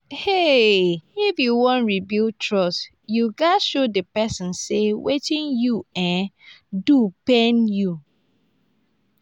um if yu wan rebuild trust yu gats show di pesin say wetin you um do pain you.